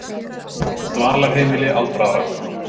Dvalarheimili aldraðra